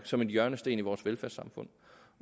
som en hjørnesten i vores velfærdssamfund